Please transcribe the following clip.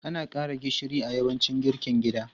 Ana ƙara gishiri a yawancin girkin gida.